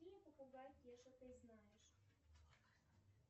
какие попугай кеша ты знаешь